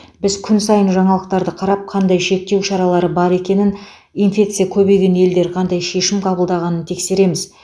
біз күн сайын жаңалықтарды қарап қандай шектеу шаралары бар екенін инфекция көбейген елдер қандай шешім қабылдағанын тексереміз